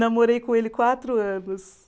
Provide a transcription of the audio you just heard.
Namorei com ele quatro anos.